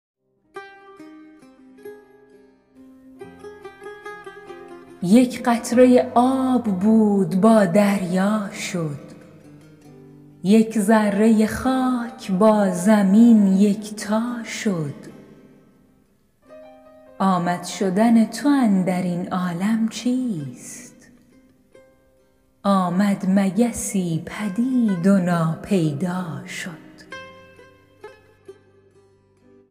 یک قطره آب بود با دریا شد یک ذره خاک با زمین یکتا شد آمد شدن تو اندر این عالم چیست آمد مگسی پدید و ناپیدا شد